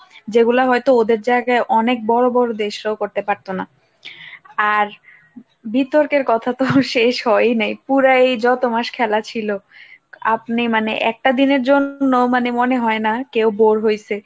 যেগুলা হয়তো ওদের জায়গায় অনেক বড় বড় দেশরাও করতে পারতো না। আর বিতর্কের কথা তো শেষ হয় নাই পুরা এই যত মাস খেলা ছিল, আপনি মানে একটা দিনের জন্য মানে মনে হয় না কেও bour হইসে,